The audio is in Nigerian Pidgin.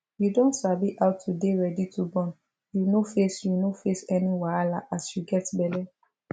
you don sabi how to dey ready to born you no face you no face any wahala as you get belle